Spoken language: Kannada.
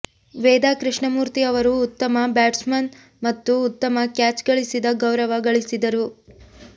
ವೇದಾ ಕೃಷ್ಣಮೂರ್ತಿ ಅವರು ಉತ್ತಮ ಬ್ಯಾಟ್ಸ್ವುಮನ್ ಮತ್ತು ಉತ್ತಮ ಕ್ಯಾಚ್ ಗಳಿಸಿದ ಗೌರವ ಗಳಿಸಿದರು